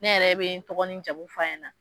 Ne yɛrɛ bɛ n tɔgɔ ni jamu f'a ɲɛna.